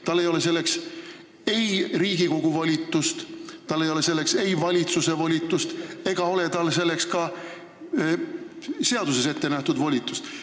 Tal ei ole selleks Riigikogu volitust, tal ei ole selleks valitsuse volitust ega ole tal selleks ka seaduses ette nähtud volitust.